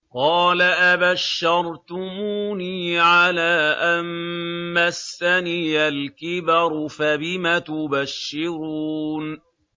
قَالَ أَبَشَّرْتُمُونِي عَلَىٰ أَن مَّسَّنِيَ الْكِبَرُ فَبِمَ تُبَشِّرُونَ